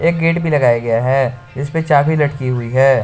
एक गेट भी लगाया हुआ है जिसपे चाबी लटकी हुई है।